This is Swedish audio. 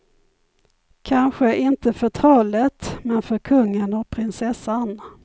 Kanske inte för trollet, men för kungen och prinsessan.